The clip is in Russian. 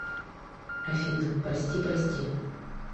афина прости прости